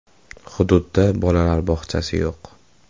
Hududdda bolalar bog‘chasi yo‘q.